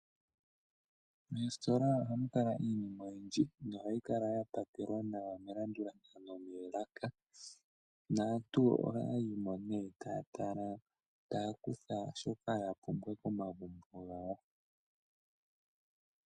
Moositola ohamu kala iinima oyindji nohayi kala ya pakelwa nawa melandulathano moolaka. Naantu ohaya yimo nee taya tala, taya kutha shoka ya pumbwa komagumbo gawo.